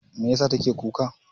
Meyasa take kuka?